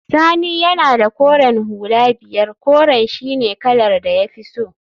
Sani yana da koren hula biyar, koren shine kalar da ya fi so